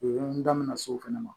O ye n da mɛna s'o fana ma